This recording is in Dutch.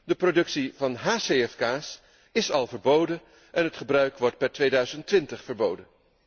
De productie van hcfk's is al verboden en het gebruik wordt per 2020 verboden.